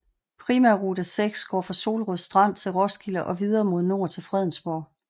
Primærrute 6 går fra Solrød Strand til Roskilde og videre mod nord til Fredensborg